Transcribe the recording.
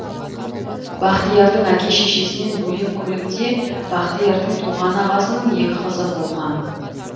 бақтиярдың әке шешесінен бөлек көлікте бақтиярдың туған ағасының екі қызы болған